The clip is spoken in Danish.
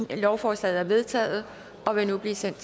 en lovforslaget er vedtaget og vil nu blive sendt